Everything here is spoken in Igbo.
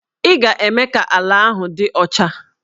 Ị ga-eme ka ala ahụ dị ọcha!